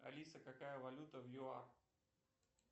алиса какая валюта в юар